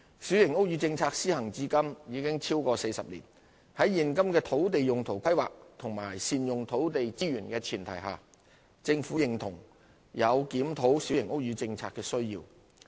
小型屋宇政策施行至今已超過40年，在現今的土地用途規劃及善用土地資源的前提下，政府認同有檢討小型屋宇政策的需要。